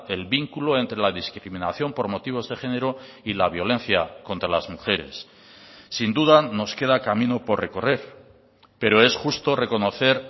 el vínculo entre la discriminación por motivos de género y la violencia contra las mujeres sin duda nos queda camino por recorrer pero es justo reconocer